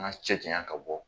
An ka cɛ jayan ka bɔ